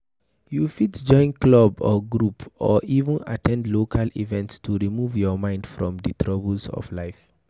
You fit join club or group or even at ten d local events to remove your mind from di troubles of life